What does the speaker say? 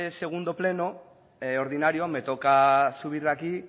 segundo pleno ordinario me toca subir aquí